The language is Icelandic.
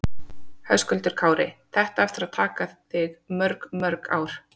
Höskuldur Kári: Þetta á eftir að taka þig mörg mörg ár?